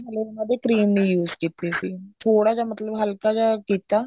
ਹਲੇ ਉਹਨਾ ਦੇ cream ਨਹੀਂ use ਕੀਤੀ ਸੀ ਥੋੜਾ ਜਾ ਮਤਲਬ ਹਲਕਾ ਜਾ ਕੀਤਾ